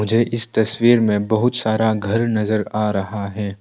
मुझे इस तस्वीर में बहुत सारा घर नजर आ रहा है।